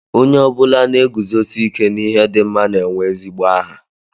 Onye ọ bụla na-eguzosi ike n'ihe dị mma na-enwe ezigbo aha